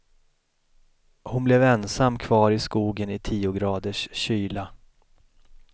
Hon blev ensam kvar i skogen i tio graders kyla.